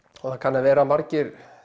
og það kann að vera að margir